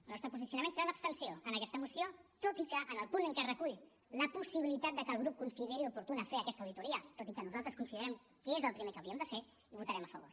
el nostre posicionament serà d’abstenció en aquesta moció tot i que en el punt en què es recull la possibilitat de que el grup consideri oportú fer aquesta auditoria tot i que nosaltres considerem que és el primer que hauríem de fer hi votarem a favor